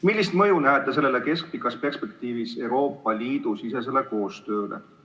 Millist mõju näete sellel keskpikas perspektiivis Euroopa Liidu sisesele koostööle?